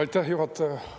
Aitäh, juhataja!